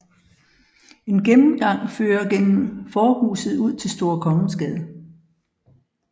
En gennemgang fører gennem forhuset ud til Store Kongensgade